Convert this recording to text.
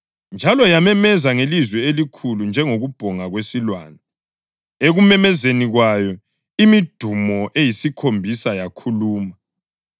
njalo yamemeza ngelizwi elikhulu njengokubhonga kwesilwane. Ekumemezeni kwayo imidumo eyisikhombisa yakhuluma.